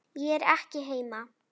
Ég er ekki heima